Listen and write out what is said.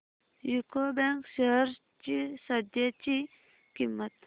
UCO Bank shares ची सध्याची किंमत